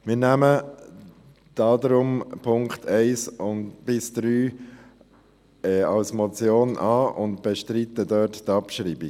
Wir nehmen deshalb die Punkte 1 bis 3 als Motion an und bestreiten deren Abschreibung.